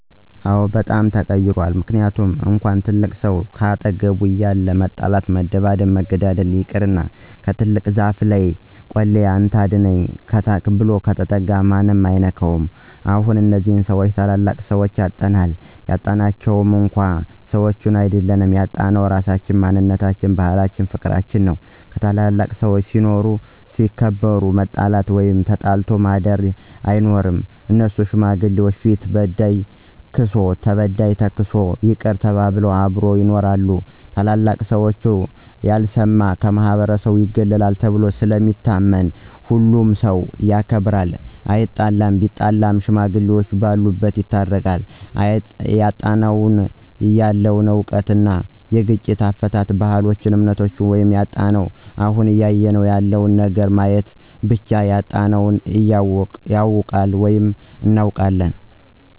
በጣም ተቀይሯል ምክንያቱም እንኳን ትልቅ ሰው ካጠገብህ እያለ መጣላት መደባደብ መገዳደል ይቅርና ከትልቅ ዛፍ ለይ ቆሌ ወይም አንተ አድነኝ ብሎ ከተጠጋ ማንም አይኑረው እንኳን ታላላቅ ሰዎች ይቅርና። አሁንላይ እነዚህን ታላላቅ ሰዎች አጠናል ያጣናቸው እኮ ሰዎችን አይድል ያጣነው ራሳችን፣ ማንነታችን፣ ባህላችን ፍቅርችንን ነው። ታላላቅ ሰዎች ሲኖሩ እና ሲከበሩ መጣላት ወይም ተጣልቶ ማድር አይኖርም እነሱ ሽማግሌዎች ፊት በዳይ ካሳ ክሶ ተበዳይ ተክሶ ይቅር ተባብለው አብረው ይኖራሉ። ታላላቅ ሽማግሌዎች ያልሰማ ከማህበረሰቡ ይገለላል ተብሎ ስለሚታመን ሁሉም ሠው ይከባበራል አይጣለም ቢጣላም ሽማግሌዎቹ በሉበት ይታረቃሉ። እያጣነው ያለነው እውቀት አለ የግጭት አፈታት፣ ባህልች እምነታችም ነው ያጣነው። አሁን እያየነው ያለው ነገር በማየት ብቻ ያጣነውን ይታወቃል ወይም እናውቃለን።